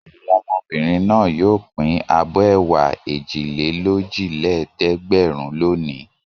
Àwọn ọmọbìnrin náà yóò pín abọ́ ẹ̀wà èjìlélójìlẹ́ẹ̀dẹ́gbẹ̀rún lónìí.